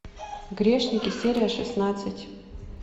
грешники серия шестнадцать